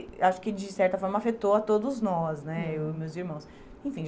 Acho que de certa forma afetou a todos nós né, eu e meus irmãos. Enfim